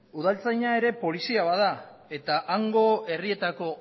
udaltzaina ere polizia bada eta hango herrietako